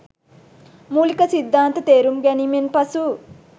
මූලික සිද්ධාන්ත තේරුම් ගැනීමෙන් පසු